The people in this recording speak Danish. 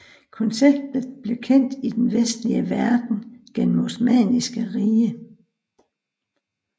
Konceptet blev kendt i den vestlige verden gennem Osmanniske Rige